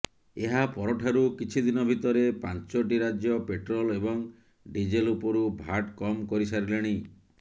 ଏହା ପରଠାରୁ କିଛି ଦିନ ଭିତରେ ପାଞ୍ଚଟି ରାଜ୍ୟ ପେଟ୍ରୋଲ୍ ଏବଂ ଡିଜେଲ୍ ଉପରୁ ଭାଟ୍ କମ୍ କରିସାରିଲେଣି